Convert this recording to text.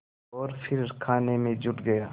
और फिर खाने में जुट गया